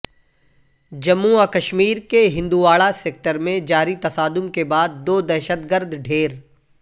جموں وکشمیر کے ہندواڑہ سیکٹر میں جاری تصادم کے بعد دو دہشت گرد ڈھیر